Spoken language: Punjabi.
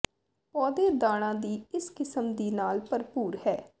ਪੌਦੇ ਦਾਣਾ ਦੀ ਇਸ ਕਿਸਮ ਦੀ ਨਾਲ ਭਰਪੂਰ ਹੈ